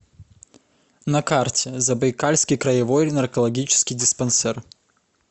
на карте забайкальский краевой наркологический диспансер